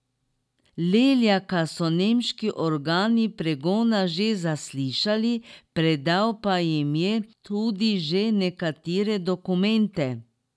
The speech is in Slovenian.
Leljaka so nemški organi pregona že zaslišali, predal pa jim je tudi že nekatere dokumente.